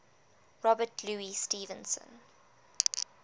robert louis stevenson